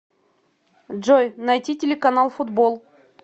джой найти телеканал футбол